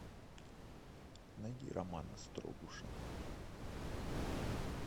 найди романа строгуша